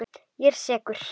Ég er sekur.